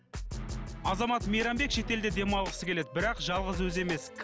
азамат мейрамбек шетелде демалғысы келеді бірақ жалғыз өзі емес